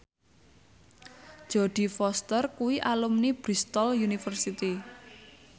Jodie Foster kuwi alumni Bristol university